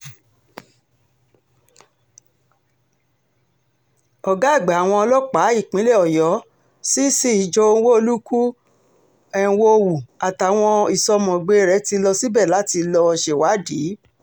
ọ̀gá àgbà àwọn ọlọ́pàá ìpínlẹ̀ ọyọ́ cc joe nwolukwu enwonwu àtàwọn ìsọ̀mọ̀gbé rẹ̀ ti lọ síbẹ̀ láti lọ́ọ́ ṣèwádìí